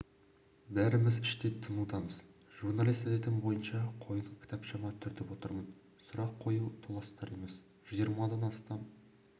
бәріміз іштей тынудамыз журналист әдетім бойынша қойын кітапшама түртіп отырмын сұрақ қою толастар емес жиырмадан астам